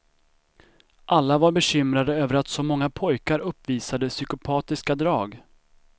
Alla var bekymrade över att så många pojkar uppvisade psykopatiska drag.